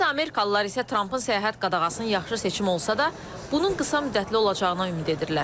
Bəzi amerikalılar isə Trampın səyahət qadağasının yaxşı seçim olsa da, bunun qısa müddətli olacağına ümid edirlər.